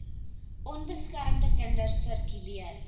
onbeskermde kinders sirkuleer